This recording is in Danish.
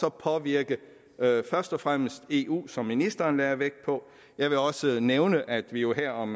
og påvirke først og fremmest eu som ministeren lagde vægt på jeg vil også nævne at vi jo her om